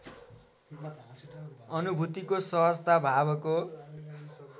अनुभूतिको सहजता भावको